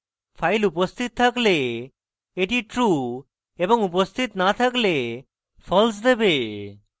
file উপস্থিত থাকলে এটি true এবং উপস্থিত so থাকলে false দেবে